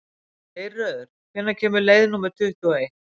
Geirröður, hvenær kemur leið númer tuttugu og eitt?